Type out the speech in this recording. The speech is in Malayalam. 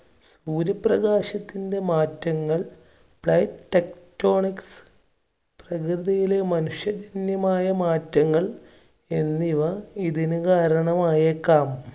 സൂര്യപ്രകാശത്തിന്‍റെ മാറ്റങ്ങൾ plate techtonic പ്രകൃതിയിലെ മനുഷ്യജന്യമായ മാറ്റങ്ങൾ എന്നിവ ഇതിന് കാരണമായേക്കാം.